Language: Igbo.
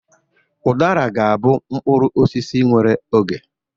Ụdara ga-abụ mkpụrụ osisi nwere oge.